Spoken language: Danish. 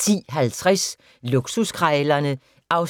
10:50: Luksuskrejlerne (116:148)